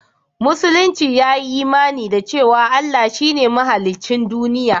Musulunci ya yi imani da cewa Allah shi ne mahaliccin duniya